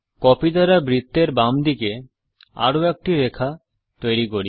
copy দ্বারা বৃত্তের বাম দিকে আরো একটি রেখা তৈরী করি